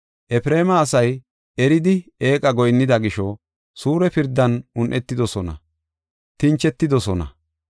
Efreema asay eridi eeqa goyinnida gisho, suure pirdan un7etidosona; tinchetidosona.